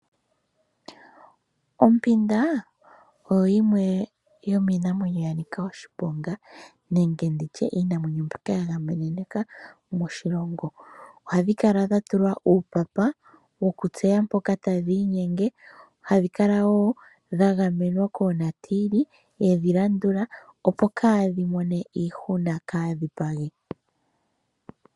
Ompinda oyo yimwe yomiinamwenyo ya nika oshiponga nenge iinamwenyo mbyoka ya gamenwa moshilongo. Ohadhi kala dha tulwa uupapa woku tseya mpoka tadhi inyenge. Ohadhi kala woo dha gamenwa koonatiili yedhi landula opo kadhimone iihuna kaadhipagi.